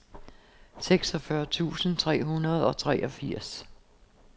seksogfyrre tusind tre hundrede og treogfirs